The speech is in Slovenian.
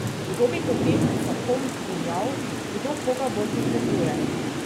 Kdo bi potem za kom dirjal, kdo koga bolj potrebuje?